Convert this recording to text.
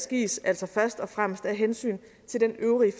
gives altså først og fremmest af hensyn til den øvrige